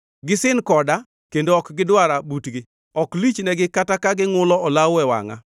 Gisin koda kendo ok gidwara butgi; ok lich negi kata ka gingʼulo olawo e wangʼa.